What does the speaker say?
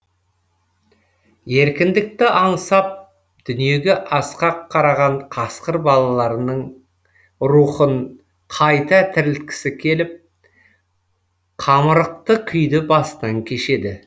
еркіндікті аңсап дүниеге асқақ қараған қасқыр балаларының рухын қайта тірілткісі келіп қамырықты күйді басынан кешеді